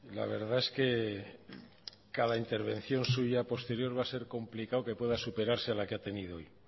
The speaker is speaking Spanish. la verdad es que cada intervención suya posterior va a ser complicado que pueda superarse a la que ha tenido hoy